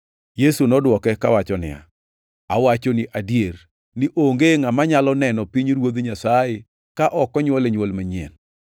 Yesu nodwoke kawacho niya, “Awachoni adier, ni onge ngʼama nyalo neno pinyruoth Nyasaye ka ok onywole nywol manyien.”